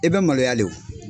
I bɛ maloya le o.